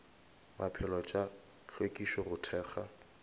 maphelo tša hlwekišo go thekga